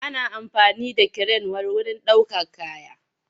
Ana amfani da kiren wurin ɗaukar kaya.